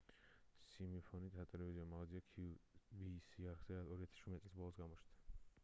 სიმინოფი სატელევიზიო მაღაზია qvc-ის არხზე 2017 წლის ბოლოს გამოჩნდა